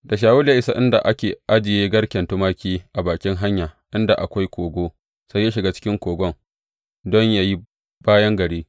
Da Shawulu ya isa inda ake ajiye garken tumaki a bakin hanya inda akwai kogo, sai ya shiga ciki kogon don yă yi bayan gari.